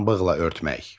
Pambıqla örtmək.